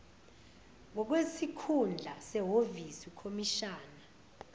ngokwesikhundla sehhovisi ukhomishina